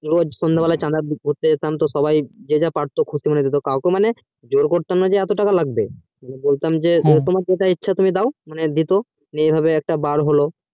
সন্ধে বেলায় চাঁদা ঘুরতে যেতাম যে যা পারতো সবাই দিতো জোর করতাম না যে এতটা টাকা লাগবেবলতাম যে তোমার যে ইচ্ছে তাই দাও এই ভাবে একটা বার হলো